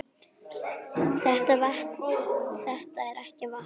Þetta er ekki vatn!